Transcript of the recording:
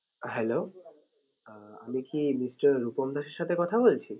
Hello আমি কি mister Rupam দাসের সাথে কথা বলছি?